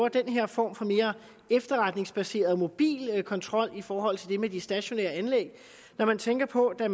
den her form for mere efterretningsbaseret mobil kontrol i forhold til det med de stationære anlæg når man tænker på at